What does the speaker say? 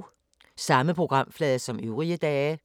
Samme programflade som øvrige dage